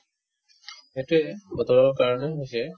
সেইটোয়ে বতৰৰ কাৰণে হৈছে